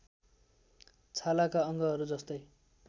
छालाका अङ्गहरू जस्तै